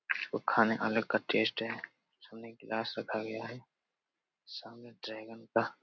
वो खाने अलग का टेस्ट है सामने एक ग्लास रखा गया है । सामने ड्रैगन का --